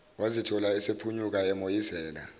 wazithola esephunyuka emoyizela